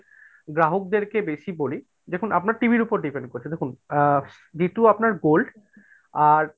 গ্রাহকদেরকে বেশি বলি দেখুন আপনার TV র উপর depend করে দেখুন যেহেতু আপনার gold আর,